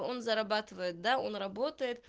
он зарабатывает да работа